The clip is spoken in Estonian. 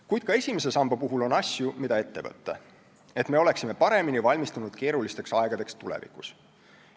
Kuid ka esimese samba puhul on asju, mida ette võtta, et me oleksime paremini valmistunud keerulisteks aegadeks tulevikus.